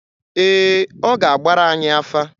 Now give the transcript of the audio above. Ee, ọ ga-agbara anyị afa.